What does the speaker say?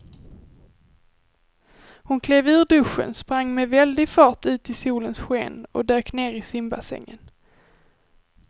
Hon klev ur duschen, sprang med väldig fart ut i solens sken och dök ner i simbassängen.